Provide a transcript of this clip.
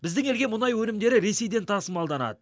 біздің елге мұнай өнімдері ресейден тасымалданады